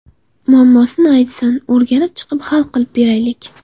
Muammosini aytsin o‘rganib chiqib hal qilib beraylik”.